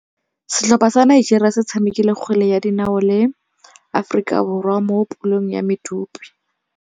Setlhopha sa Nigeria se tshamekile kgwele ya dinaô le Aforika Borwa mo puleng ya medupe.